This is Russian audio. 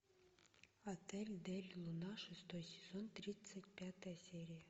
отель дель луна шестой сезон тридцать пятая серия